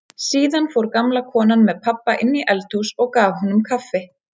Síðan fór gamla konan með pabba inn í eldhús og gaf honum kaffi.